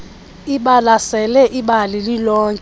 ibalasele ibali lilonke